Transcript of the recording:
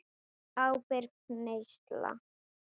Ábyrg neysla.